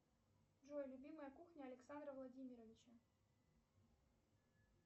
джой любимая кухня александра владимировича